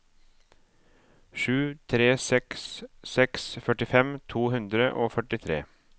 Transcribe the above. sju tre seks seks førtifem to hundre og førtitre